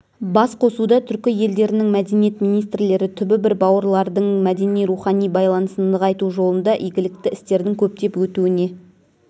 басқосуда түркі елдерінің мәдениет министрлері түбі бір бауырлардың мәдени-рухани байланысын нығайту жолында игілікті істердің көптеп өтуіне